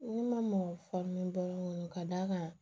Ne ma mɔ faamu ka d'a kan